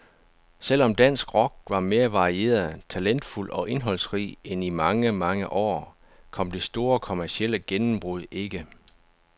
Selv om dansk rock var mere varieret, talentfuld og indholdsrig end i mange, mange år, kom det store kommercielle gennembrud ikke.